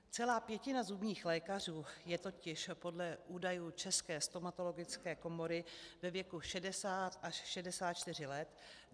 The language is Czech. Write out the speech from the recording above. Celá pětina zubních lékařů je totiž podle údajů České stomatologické komory ve věku 60 až 64 let.